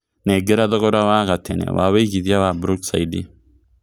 nengera thogora wa gatene wa wĩigĩthĩa wa brookside